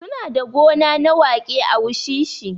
Su na da gona na waƙe a wushishi